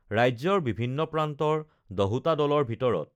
ৰাজ্যৰ বিভিন্ন প্ৰান্তৰ দহোটা দলৰ ভিতৰত